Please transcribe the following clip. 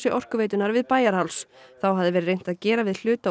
Orkuveitunnar við Bæjarháls þá hafði verið reynt að gera við hluta